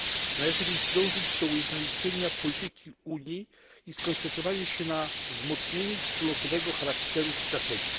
Należy więc dążyć do ujednolicenia polityki Unii i skoncentrowania się na wzmocnieniu wspólnotowego charakteru strategii.